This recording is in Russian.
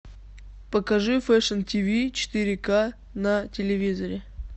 покажи фэшн тиви четыре к на телевизоре